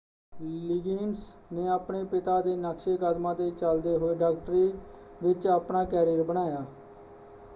Liggins ਨੇ ਆਪਣੇ ਪਿਤਾ ਦੇ ਨਕਸ਼ੇ ਕਦਮਾਂ 'ਤੇ ਚੱਲਦੇ ਹੋਏ ਡਾਕਟਰੀ ਵਿੱਚ ਆਪਣਾ ਕੈਰੀਅਰ ਬਣਾਇਆ।